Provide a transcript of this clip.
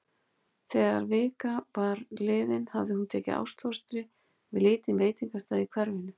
Þegar vika var liðin hafði hún tekið ástfóstri við lítinn veitingastað í hverfinu.